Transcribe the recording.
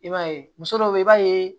I b'a ye muso dɔw be yen i b'a ye